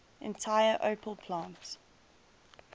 entire opel plant